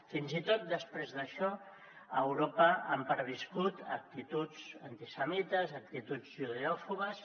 fins i tot després d’això a europa han perviscut actituds antisemites actituds judeòfobes